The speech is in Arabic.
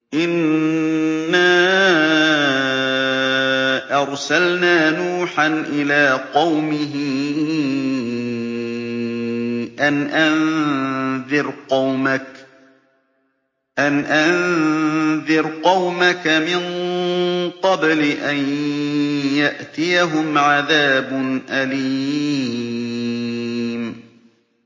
إِنَّا أَرْسَلْنَا نُوحًا إِلَىٰ قَوْمِهِ أَنْ أَنذِرْ قَوْمَكَ مِن قَبْلِ أَن يَأْتِيَهُمْ عَذَابٌ أَلِيمٌ